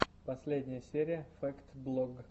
последняя серия фэкт блог